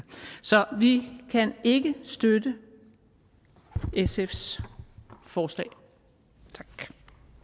så vi kan ikke støtte sfs forslag